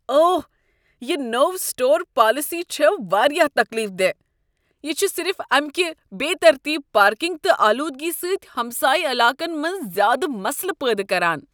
اوہ! یہ نوٚو سٹور پالیسی چھےٚ واریاہ تکلیف دہ۔ یہ چھ صرف امکہ بے ترتیب پارکنگ تہٕ آلودگی سۭتۍ ہمسایہ علاقن منٛز زیادٕ مسلہٕ پٲدٕ کران۔